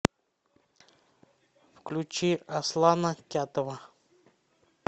включи аслана кятова